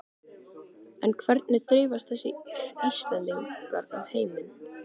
En hvernig dreifast þessi Íslendingar um heiminn?